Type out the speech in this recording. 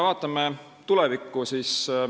Vaatame tulevikku.